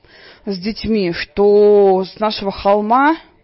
с детьми что с нашего холма